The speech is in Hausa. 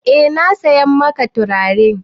Eh na saya maka turare.